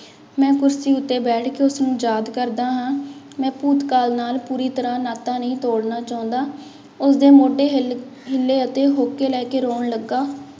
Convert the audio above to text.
ਮੈਂ ਕੁਰਸੀ ਉੱਤੇ ਬੈਠ ਕੇ ਉਸਨੂੰ ਯਾਦ ਕਰਦਾ ਹਾਂ, ਮੈਂ ਭੂਤਕਾਲ ਨਾਲ ਪੂਰੀ ਤਰ੍ਹਾਂ ਨਾਤਾ ਨਹੀਂ ਤੋੜਨਾ ਚਾਹੁੰਦਾ, ਉਸਦੇ ਮੋਢੇ ਹਿੱਲ ਹਿੱਲੇ ਅਤੇ ਹੋਂਕੇ ਲੈ ਕੇ ਰੌਣ ਲੱਗਾ।